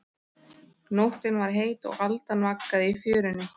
Nóttin var heit og aldan vaggaði í fjörunni.